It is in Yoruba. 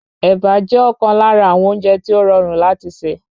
Ẹ̀bà jẹ́ ọ̀kan lára àwọn oúnjẹ tí o rọrùn láti ṣe.